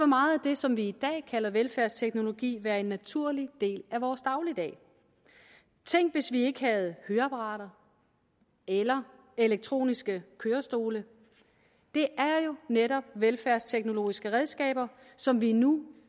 meget af det som vi i dag kalder velfærdsteknologi være en naturlig del af vores dagligdag tænk hvis vi ikke havde høreapparater eller elektroniske kørestole det er jo netop velfærdsteknologiske redskaber som vi nu